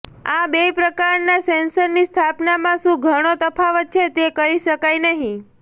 આ બે પ્રકારનાં સેન્સરની સ્થાપનામાં શું ઘણું તફાવત છે તે કહી શકાય નહીં